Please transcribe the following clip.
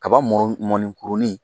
Kaba mɔn mɔnni kurunin